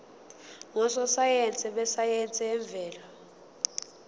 ngososayense besayense yemvelo